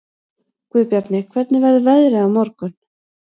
Guðbjarni, hvernig verður veðrið á morgun?